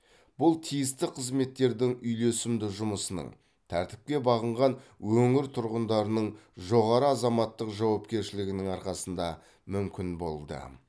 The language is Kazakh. бұл тиісті қызметтердің үйлесімді жұмысының тәртіпке бағынған өңір тұрғындарының жоғары азаматтық жауапкершілігінің арқасында мүмкін болды